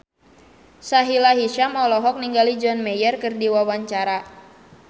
Sahila Hisyam olohok ningali John Mayer keur diwawancara